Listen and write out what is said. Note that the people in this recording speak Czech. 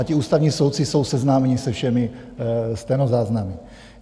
A ti ústavní soudci jsou seznámeni se všemi stenozáznamy.